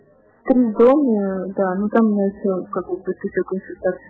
ганатон